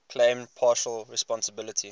claimed partial responsibility